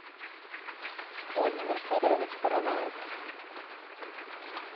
владимир федорович параваев